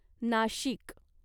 Nashik